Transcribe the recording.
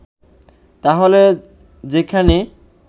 তাহলে যেখানে